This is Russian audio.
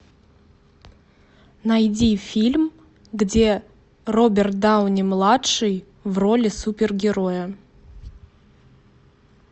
найди фильм где роберт дауни младший в роли супергероя